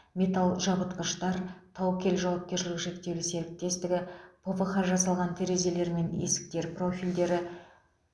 металл жабытқыштар таукел жауапкершілігі шектеулі серіктестігі пвх жасалған терезелер мен есіктер профильдері